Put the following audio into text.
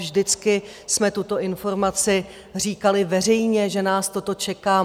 Vždycky jsme tuto informaci říkali veřejně, že nás toto čeká.